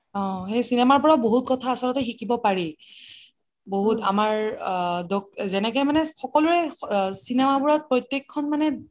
অ cinema ৰ পৰা বহুত কথা আচলতে শিকিব পাৰি বহুত আমাৰ অ জেনেকে মানে সকুলোৰে cinema বোৰত প্ৰত্যেক খন মানে